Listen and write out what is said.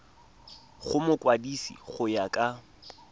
go mokwadise go ya ka